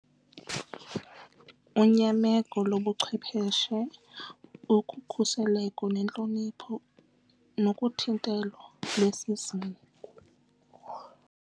Unyameko lobuchwepeshe ukhuseleko nentlonipho nokuthintela lwesizungu.